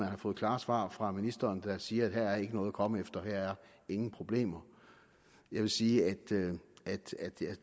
har fået klare svar fra ministeren der siger at her er ikke noget at komme efter her er ingen problemer jeg vil sige at